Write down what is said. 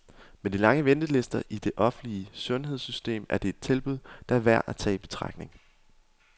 Med de lange ventelister i det offentlige sundhedssystem, er det et tilbud, der er værd at tage i betragtning.